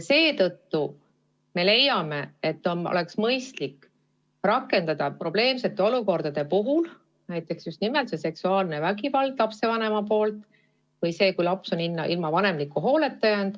Seetõttu me leiame, et mõistlik on rakendada erisätteid selliste probleemsete olukordade puhul, kui tegemist on näiteks lapsevanema seksuaalse vägivallaga või sellega, et laps on ilma vanemliku hooleta jäänud.